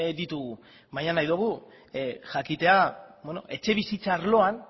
ditugu baina nahi dugu jakitea etxebizitza arloan